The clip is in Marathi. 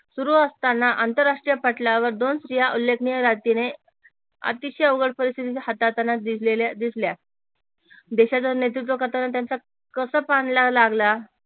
सुरू असतांना आंतरराष्ट्रीय पटलावर दोन स्त्रिया उल्लेखनीय अतिशय जिंकलेल्या दिसल्या देशाच नेतृत्व करताना त्यांचा कस लागला